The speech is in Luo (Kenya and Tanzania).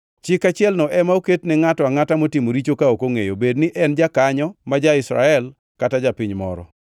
Chik achielno ema oket ne ngʼato angʼata motimo richo ka ok ongʼeyo, bed ni en jakanyo ma ja-Israel kata japiny moro.